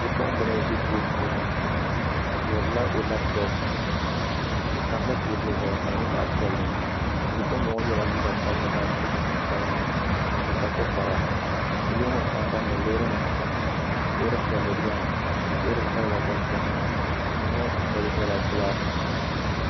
Bipuɣunbili n ʒi duu puuni o dihirila o labtop di tamla teebuli zuɣu ka di nyɛ zaɣ piɛlli bipuɣunbili ŋo yɛla liiga sabinli ka so jinjɛm sabinli o kpa tikpara yili ŋo sambanni loori nim chɛna loori piɛlli biɛni loori sabila gba biɛni duu ŋo dundoli gba nyɛla gilaasi